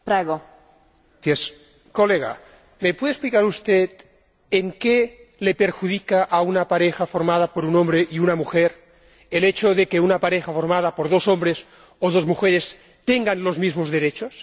Señora Presidenta, colega, ¿me puede explicar usted en qué le perjudica a una pareja formada por un hombre y una mujer el hecho de que una pareja formada por dos hombres o dos mujeres tengan los mismos derechos?